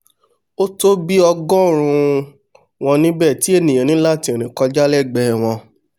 ótó bí ọgọ́rùún un wọ́n níbẹ̀ tí ènìà ní láti rìn kọjá lẹ́gbẹ̀ẹ́ wọn